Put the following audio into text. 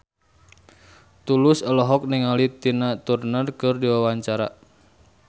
Tulus olohok ningali Tina Turner keur diwawancara